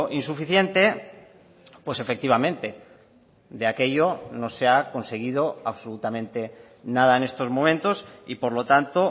insuficiente pues efectivamente de aquello no se ha conseguido absolutamente nada en estos momentos y por lo tanto